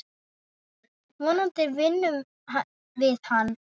Vonandi vinnum við hann.